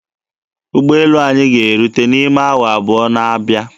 Ụgbọelu anyị ga-erute n'ime awa abụọ na-abịa.